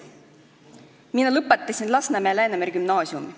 Mina lõpetasin Lasnamäel Läänemere gümnaasiumi.